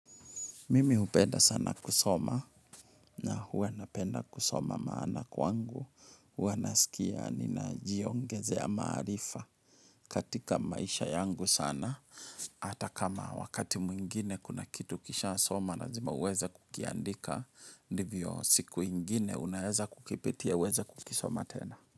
Mimi hupenda sana kusoma na huwana penda kusoma maana kwangu. Huwana sikia nina jiongeze ya maarifa katika maisha yangu sana. Hata kama wakati mwingine kuna kitu kisha soma lazima uweze kukiandika. Ndivyo siku ingine unaeza kukipitia uweza kukisoma tena.